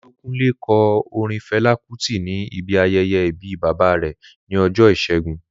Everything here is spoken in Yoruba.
Olúkúnlé kọ orin Fẹlá Kútì ní ibi ayẹyẹ ìbí bàbá rẹ̀ ní ọjọ́ ìṣẹ́gun